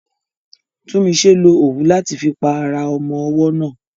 Tunmise lo òwú láti fi pa ara ọmọ ọwọ́ náà.